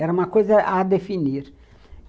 Era uma coisa a definir.